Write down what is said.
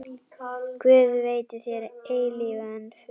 Guð veiti þér eilífan frið.